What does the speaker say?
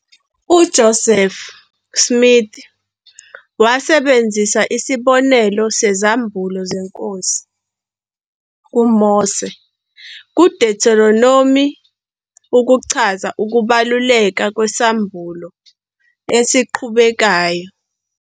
UJoseph Smith wasebenzisa isibonelo sezambulo zeNkosi kuMose kuDuteronomi ukuchaza ukubaluleka kwesambulo esiqhubekayo-